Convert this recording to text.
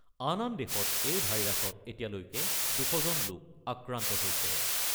আন আন দেশত এই ভাইৰাছত এতিয়ালৈ ২০০জন লোক আক্ৰান্ত হৈছে।